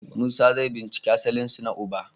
Musa zai binciki asalinsa na uba.